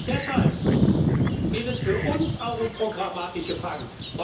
Deshalb geht es für uns auch um programmatische Fragen.